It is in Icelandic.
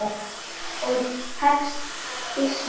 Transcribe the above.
Og tekst býsna vel.